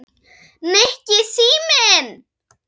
Nikki, síminn